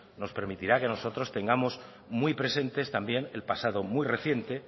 nos permitirá que no nosotros tengamos muy presentes también el pasado muy reciente